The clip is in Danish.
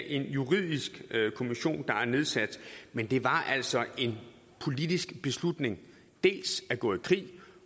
en juridisk kommission der blev nedsat men det var altså en politisk beslutning dels at gå i krig